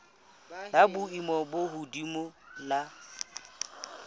la boemo bo hodimo la